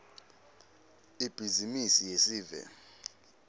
ibhizimisi yesive